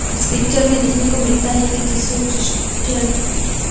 इस पिक्चर में देखने को मिलता है कि जीसू क्रिश्चियन --